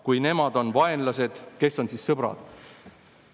Kui nemad on vaenlased – kes on siis sõbrad?